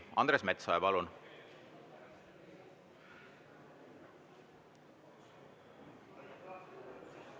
Andres Metsoja, palun!